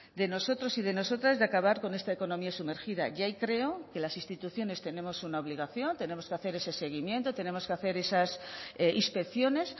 de nosotros y de nosotras de acabar con esta economía sumergida y ahí creo que las instituciones tenemos una obligación tenemos que hacer ese seguimiento tenemos que hacer esas inspecciones